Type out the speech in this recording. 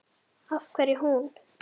Af hverju hún?